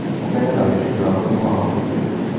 Ũmenyo na wĩtĩkio wa mũrimũ wa mahũri